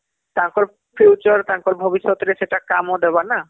ତାଙ୍କର future ତାଙ୍କର ଭବିଷ୍ୟତ ରେ ସେଟା କାମ ଦବ ନା